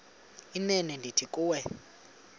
inene ndithi kuwe